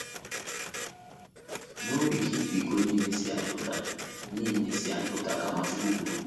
N’obi ka ịkwa iko nile si apụta nile si apụta, ka Nwachukwu kwuru.